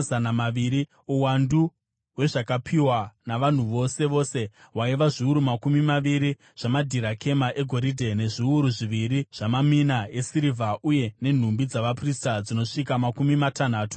Uwandu hwezvakapiwa navanhu vose vose hwaiva zviuru makumi maviri zvamadhirakema egoridhe, nezviuru zviviri zvamamina esirivha, uye nenhumbi dzavaprista dzinosvika makumi matanhatu nenomwe.